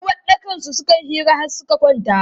A uwaɗɗakansu suka yi hira har suka kwanta.